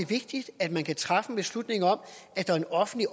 vigtigt at man kan træffe en beslutning om at der er en offentlig